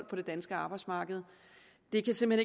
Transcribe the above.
på det danske arbejdsmarked det kan simpelt